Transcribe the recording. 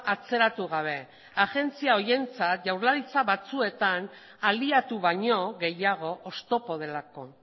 atzeratu gabe agentzia horientzat jaurlaritza batzuetan aliatu baino gehiago oztopo delako